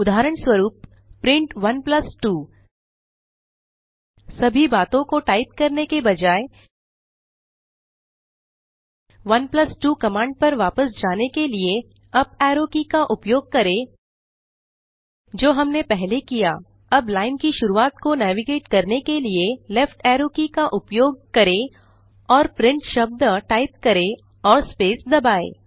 उदाहरणस्वरूप प्रिंट 12 सभी बातों को टाइप करने के बजाय 12 कमांड पर वापस जाने के लिए अप एरो की का उपयोग करेंजो हमने पहले किया अब लाइन की शुरूआत को नेविगेट करने के लिए लेफ्ट एरो की का उपयोग करें और print शब्द टाइप करें और स्पेस दबाएँ